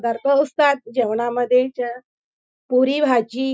जेवणामध्ये ज्या पुरी भाजी--